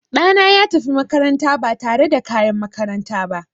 Ɗana ya tafi makaranta ba tare da kayan makaranta ba.